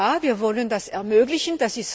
Ja, wir wollen das ermöglichen.